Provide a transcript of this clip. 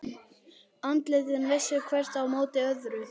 Andlitin vissu hvert á móti öðru.